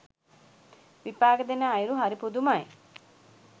විපාක දෙන අයුරු හරි පුදුමයි.